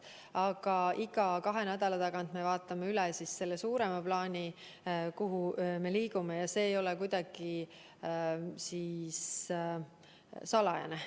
Aga iga kahe nädala tagant me vaatame üle selle suurema plaani, kuhu me liigume, ja see ei ole kuidagi salajane.